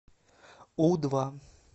у два